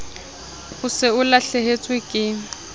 o se o lahlehetswe ke